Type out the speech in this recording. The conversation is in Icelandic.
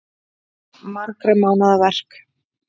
Margra mánaða verk